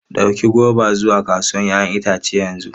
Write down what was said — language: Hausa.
Ɗauki goba zuwa kasuwar 'ya'yan itace yanzu!